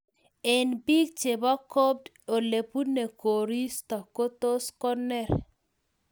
Eng biik chebaa copd ole bunee koristo those koneer